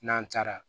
N'an taara